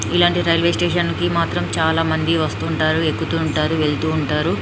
ఇలాంటి railway station కి మాత్రం చాలా మంది వస్తుంటారు ఎక్కుతూ ఉంటారు వెళుతూ ఉంటారు --